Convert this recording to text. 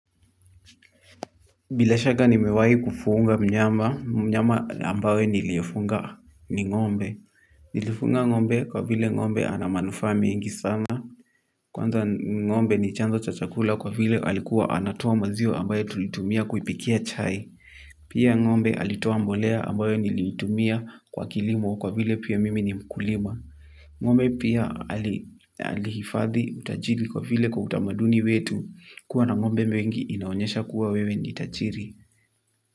Bila shaka nimewahi kufuga mnyama, mnyama ambayo niliyofunga ni ng'ombe. Nilifunga ng'ombe kwa vile ng'ombe ana manufaa mingi sana. Kwanza ng'ombe ni chanzo cha chakula kwa vile alikuwa anatoa maziwa ambayo tulitumia kuipikia chai. Pia ng'ombe alitoa mbolea ambayo niliitumia kwa kilimo kwa vile pia mimi ni mkulima. Ng'ombe pia alihifadhi utajiri kwa vile kwa utamaduni wetu. Kuwa na ng'ombe wengi inaonyesha kuwa wewe ni tajiri.